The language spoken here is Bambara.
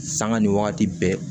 Sanga ni wagati bɛɛ